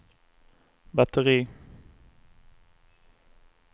batteri